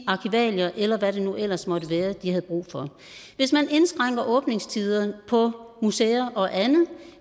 arkivalier eller hvad det nu ellers måtte være de har brug for hvis man indskrænker åbningstider på museer og andet